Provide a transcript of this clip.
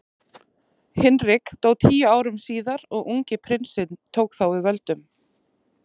Hinrik dó tíu árum síðar og ungi prinsinn tók þá við völdum.